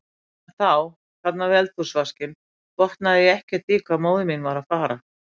En þá, þarna við eldhúsvaskinn, botnaði ég ekkert í hvað móðir mín var að fara.